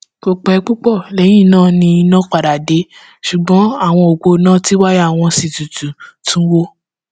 kò pẹ púpọ lẹyìn náà ni iná padà dé ṣùgbọn àwọn òpó iná tí wáyà wọn sì tutù tún wò